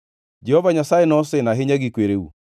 “Jehova Nyasaye nosin ahinya gi kwereu.